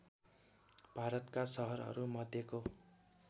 भारतका सहरहरू मध्येको